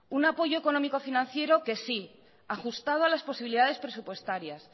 un apoyo económico financiero ajustada a las posibilidades presupuestarias